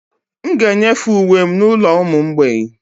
M ga-enyefe uwe m n'ụlọ ụmụ mgbei